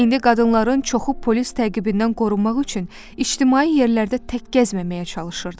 İndi qadınların çoxu polis təqibindən qorunmaq üçün ictimai yerlərdə tək gəzməməyə çalışırdılar.